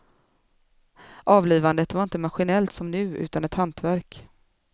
Avlivandet var inte maskinellt som nu, utan ett hantverk.